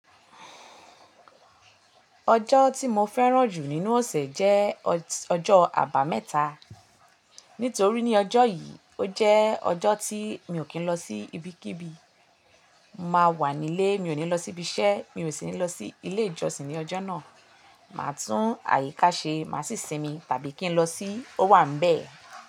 Ọjọ́ tí mo fẹ́ràn jù nínú ọ̀sẹ̀ jẹ́ ọjọ́ àbámẹ́ta. Nítorí ní ọjọ́ yìí, ó jẹ́ ọjọ́ tí mi ò kí ń lọ sí ibikíbi. Mo máa wà nílé, mi ò ní lọ síbi iṣẹ́, mi ò sì ní lọ sí ilé ìjọsìn ní ọjọ́ náà. Máà tún àyíká ṣe, má sì sinmi tàbí kí n lọ sí ó wà nbẹ̀